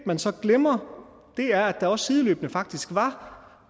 man så glemmer er at der også sideløbende faktisk var